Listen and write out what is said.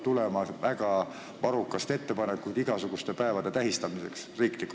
Vahest hakkab nagu varrukast tulema ettepanekuid igasuguste päevade riiklikult tähistamiseks?